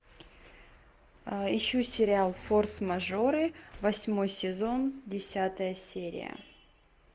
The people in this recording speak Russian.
ищу сериал форс мажоры восьмой сезон десятая серия